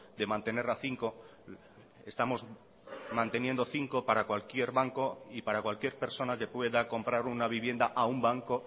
de mantener a cinco estamos manteniendo cinco para cualquier banco y para cualquier persona que pueda comprar una vivienda a un banco